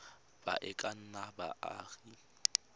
ba e ka nnang baagi